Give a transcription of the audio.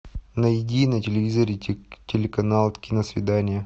найди на телевизоре телеканал киносвидание